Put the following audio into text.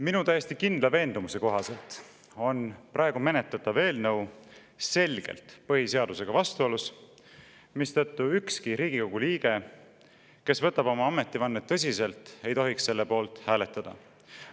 Minu täiesti kindla veendumuse kohaselt on praegu menetletav eelnõu selgelt põhiseadusega vastuolus, mistõttu ükski Riigikogu liige, kes võtab oma ametivannet tõsiselt, ei tohiks selle poolt hääletada.